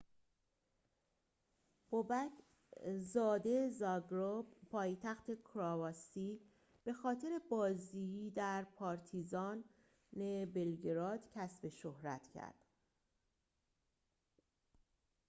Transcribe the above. بوبک زاده زاگرب پایتخت کرواسی به خاطر بازی در پارتیزان بلگراد کسب شهرت کرد